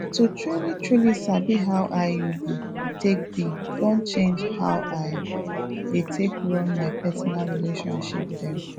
to trulytruly sabi how iud take be don change how i dey take run my personal relationship dem